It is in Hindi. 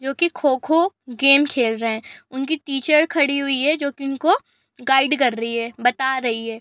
जोकि खो-खो गेम खेल रहे हैं उनकी टीचर खड़ी हुई है जो कि उनको गाइड कर रही है बता रही है।